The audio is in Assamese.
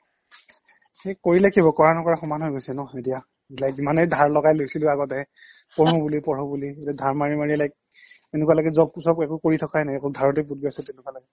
কৰিলে কি হ'ব? কৰা নকৰা সমান হৈ গৈছে ন এতিয়া like যিমানে ধাৰ লগাই লৈছিলো আগতে পঢ়ো বুলি পঢ়ো বুলি এতিয়া ধাৰ মাৰি মাৰি like এনেকুৱা লাগে job চব একো কৰি থকাই নাই অকল ধাৰতে পোত গৈ আছো তেনেকুৱা লাগে